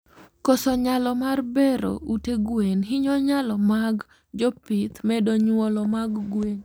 Koso nyalo mar bero ute gwen hinyo nylo mag jopith medo nyuolo mag gwen